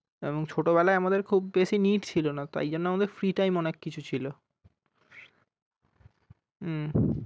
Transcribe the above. তেমন ছোট বেলায় আমাদের খুব বেশি need ছিলোনা তাই জন্য আমাদের free time অনেক কিছু ছিল। হম